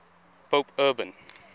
pope urban